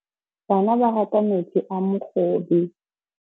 Bana ba rata metsi a mogobe.